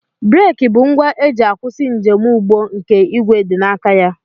Breeki bụ ngwa e ji akwụsị njemụgbọ nke ìgwè dị n'aka ya